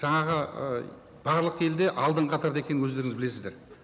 жаңағы ы барлық елде алдынғы қатарда екенін өздеріңіз білесіздер